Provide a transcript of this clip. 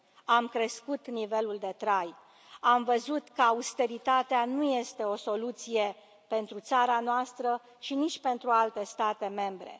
Am crescut nivelul de trai. Am văzut că austeritatea nu este o soluție pentru țara noastră și nici pentru alte state membre.